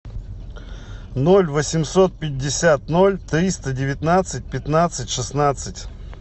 ноль восемьсот пятьдесят ноль триста девятнадцать пятнадцать шестнадцать